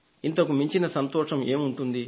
ఇంతకు మించిన సంతోషం ఏముంటుంది